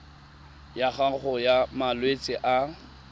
ya gago ya malwetse a